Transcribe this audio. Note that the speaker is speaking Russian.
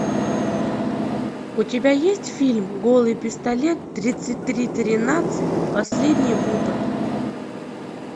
у тебя есть фильм голый пистолет тридцать три тринадцать последний выпад